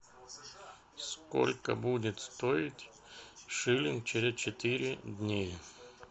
сколько будет стоить шиллинг через четыре дня